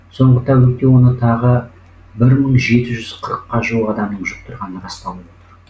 соңғы тәулікте оны тағы бір мың жеті жүз қырыққа жуық адамның жұқтырғаны расталып отыр